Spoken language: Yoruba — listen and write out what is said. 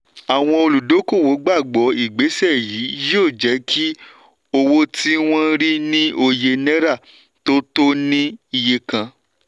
àwọn olúdókòwò gbàgbọ́ ìgbésẹ̀ yí yóò jẹ́ kí owó tí wọ́n rí ní òye náírà tó tó ní iye kan.